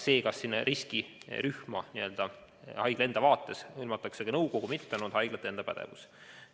See, kas riskirühma arvatakse haigla enda vaates ka nõukogu või mitte, on haiglate enda pädevuses.